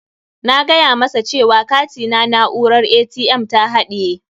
Na gaya masa cewa katina na'urar ATM ta haɗaye.